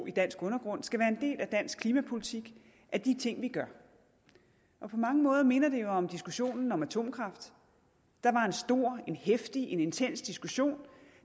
i dansk undergrund skal være en del af dansk klimapolitik af de ting vi gør på mange måder minder det jo om diskussionen om atomkraft der var en stor en heftig en intens diskussion